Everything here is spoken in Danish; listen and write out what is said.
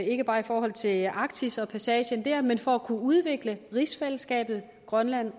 ikke bare i forhold til arktis og passagen der men for at kunne udvikle rigsfællesskabet grønland